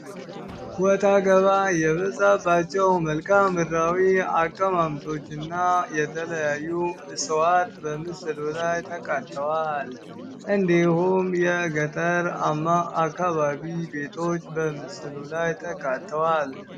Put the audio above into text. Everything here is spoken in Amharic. ወጣ ገባ የበዛባቸው መልከአ ምድራዊ አቀማመጦች እና የተለያዩ እፅዋቶች በምስሉ ላይ ተካተዋል እንዲሁም የገጠራማ ቤቶች በምስሉ ላይ ተካተዋል።